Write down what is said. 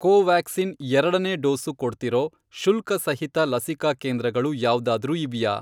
ಕೋವ್ಯಾಕ್ಸಿನ್ ಎರಡನೇ ಡೋಸು ಕೊಡ್ತಿರೋ ಶುಲ್ಕಸಹಿತ ಲಸಿಕಾ ಕೇಂದ್ರಗಳು ಯಾವ್ದಾದ್ರೂ ಇವ್ಯಾ?